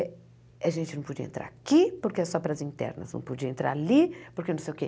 a gente não podia entrar aqui, porque é só para as internas, não podia entrar ali, porque não sei o quê.